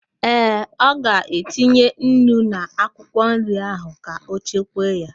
Ee, ọ ga-etinye nnu n'akwụkwọ nri ahụ ka ọ chekwaa ya